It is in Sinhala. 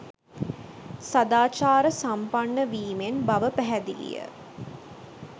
සදාචාර සම්පන්න වීමෙන් බව පැහැදිලිය